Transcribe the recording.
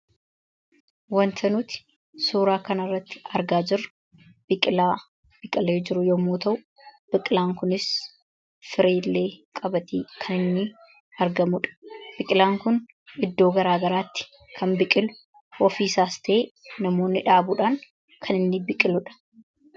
wanta nuuti suuraa kana irratti argaa jiru biqilaa biqilee jiru yommuu ta'u biqilaan kunis firilee qabatee kan inni argamuudha. biqilaan kun iddoo garaa garaatti kan biqilu ofii isaas ta'ee namoonni dhaabuudhaan kan inni biqiluudha.